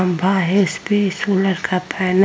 खम्बा है इस पे सोलर का पैनल --